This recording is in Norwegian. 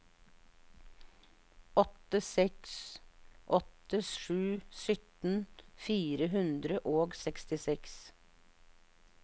åtte seks åtte sju sytten fire hundre og sekstiseks